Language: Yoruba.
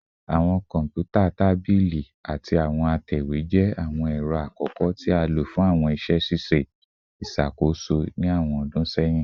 Awọn kọnputa tabili tabili ati awọn atẹwe jẹ awọn ẹrọ akọkọ ti a lo fun awọn iṣẹ ṣiṣe iṣakoso ni awọn ọdun sẹyin